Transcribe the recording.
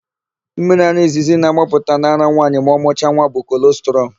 Mmiriara izizi na-agbapụta n'ara nwaanyị ma ọ mụcha nwa bụ kolọstrum.